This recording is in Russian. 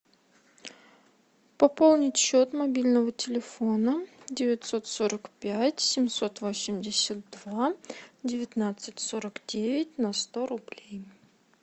пополнить счет мобильного телефона девятьсот сорок пять семьсот восемьдесят два девятнадцать сорок девять на сто рублей